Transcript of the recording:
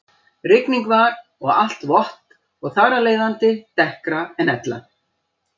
Rigning var og alt vott og þar af leiðandi dekkra en ella.